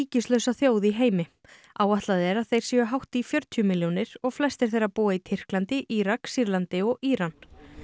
ríkislausa þjóð í heimi áætlað er að þeir séu hátt í fjörutíu milljónir og flestir þeirra búa í Tyrklandi Írak Sýrlandi og Íran